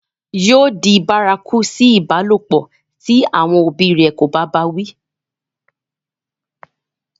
yóò di bárakú sí ìbálòpọ̀ tí àwọn òbí rẹ̀ kò bá bá a wí